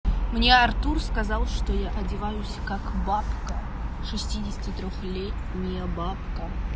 мне артур сказал что я одеваюсь как бабка шестидесяти трёх летняя бабка